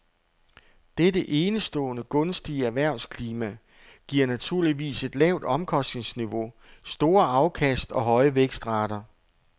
Dette enestående gunstige erhvervsklima giver naturligvis et lavt omkostningsniveau, store afkast og høje vækstrater.